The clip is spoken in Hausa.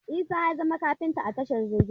Isa ya zama kaftin a tashar jirgin ruwa